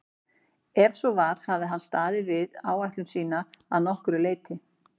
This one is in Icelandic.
Ef svo var hafði hann staðið við ætlun sína að nokkru leyti.